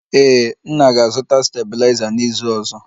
Ee, nna ga-azụta stabiliza n'izu ọzọ